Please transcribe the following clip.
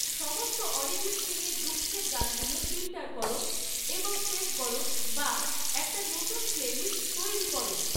সমস্ত অরিজিৎ সিংহের দুঃখের গানগুলো ফিল্টার করো এবং সেভ করো বা একটা নতুন প্লেলিস্ট তৈরি করো